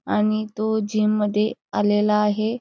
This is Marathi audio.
आणि तो जिम मध्ये आलेला आहे.